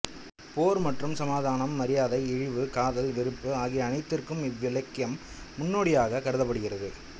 போர் மற்றும் சமாதானம் மரியாதை இழிவு காதல் வெறுப்பு ஆகிய அனைத்திற்கும் இவ்விலக்கியம் முன்னோடியாக கருதப்படுகிறது